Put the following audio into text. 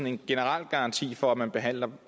en generel garanti for at man behandler